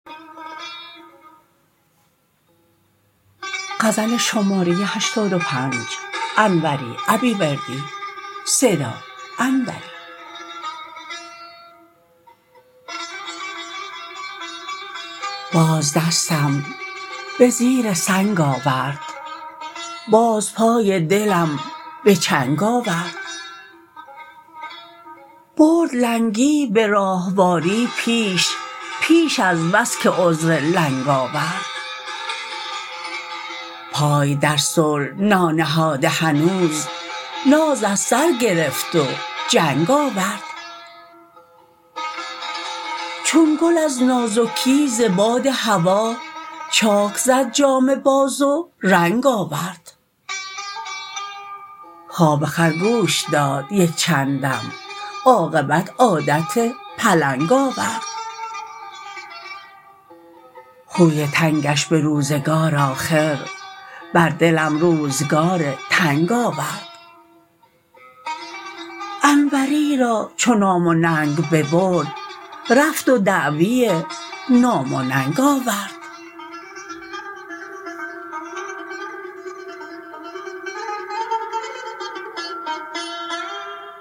باز دستم به زیر سنگ آورد باز پای دلم به چنگ آورد برد لنگی به راهواری پیش پیش از بس که عذر لنگ آورد پای در صلح نانهاده هنوز ناز از سر گرفت و جنگ آورد چون گل از نازکی ز باد هوا چاک زد جامه باز و رنگ آورد خواب خرگوش داد یک چندم عاقبت عادت پلنگ آورد خوی تنگش به روزگار آخر بر دلم روزگار تنگ آورد انوری را چو نام و ننگ ببرد رفت و دعوی نام و ننگ آورد